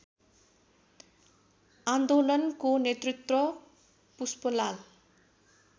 आन्दोलनको नेतृत्व पुष्पलाल